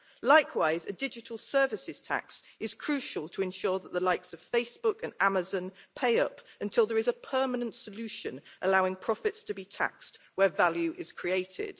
Likewise, a digital services tax is crucial to ensure that the likes of Facebook and Amazon pay up until there is a permanent solution allowing profits to be taxed where value is created.